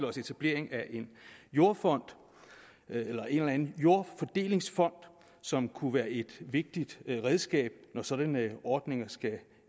os etableringen af en jordfond eller en eller anden jordfordelingsfond som kunne være et vigtigt redskab når sådanne ordninger skulle